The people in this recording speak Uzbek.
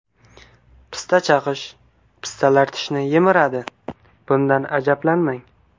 Pista chaqish Pistalar tishni yemiradi, bundan ajablanmang.